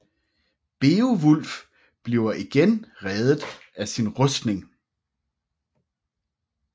Beovulf bliver igen reddet af sin rustning